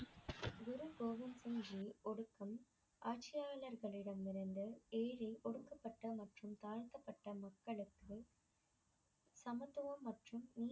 குரு கோவிந்த் சிங் ஜி யின் ஒடுக்கம் ஆட்சியாளர்களிடம் இருந்து எளிதில் ஒடுக்கப்பட்ட மற்றும் தாழ்த்தப்பட்ட மக்களுக்காக சமத்துவம் மற்றும்